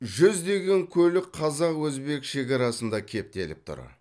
жүздеген көлік қазақ өзбек шекарасында кептеліп тұр